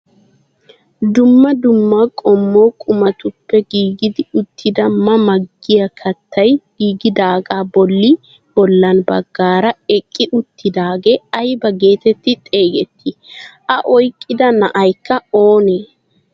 Dumma dumma qumaa qommotuppe giigi uttidi ma ma giyaa kaattay giigidaagaa bolli bolla baggaara eqqi uttidagee ayba getetti xeegettii? a oyqqida na'aykka oonee?